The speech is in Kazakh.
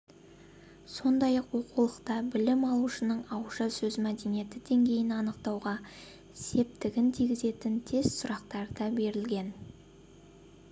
сондай-ақ оқулықта білім алушының ауызша сөз мәдениеті деңгейін анықтауға септігін тигізетін тест сұрақтары да берілген